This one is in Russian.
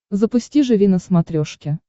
запусти живи на смотрешке